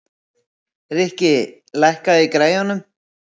Rikki, lækkaðu í græjunum.